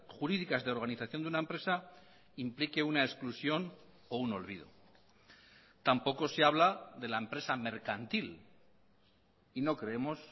jurídicas de organización de una empresa implique una exclusión o un olvido tampoco se habla de la empresa mercantil y no creemos